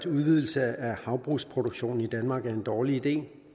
udvidelse af havbrugsproduktionen i danmark er en dårlig ide